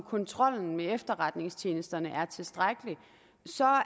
kontrollen med efterretningstjenesterne er tilstrækkelig så